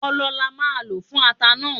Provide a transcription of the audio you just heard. Ọlọ là máà lo fún ata náà